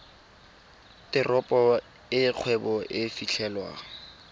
teropo e kgwebo e fitlhelwang